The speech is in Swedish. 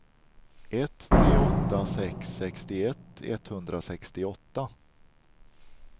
ett tre åtta sex sextioett etthundrasextioåtta